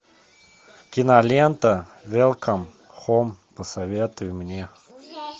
кинолента велком хоум посоветуй мне